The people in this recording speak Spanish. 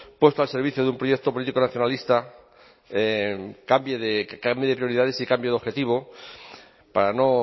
puesto al servicio de un proyecto político nacionalista cambie de prioridades y cambie de objetivo para no